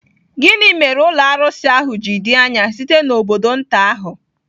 Gịnị mere ụlọ arụsị ahụ ji dị anya site n'obodo nta ahụ?